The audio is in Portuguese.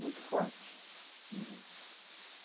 muito forte né.